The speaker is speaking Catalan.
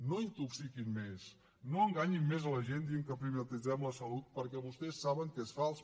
no intoxiquin més no enganyin més la gent dient que privatitzem la salut perquè vostès saben que és fals